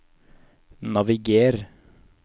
naviger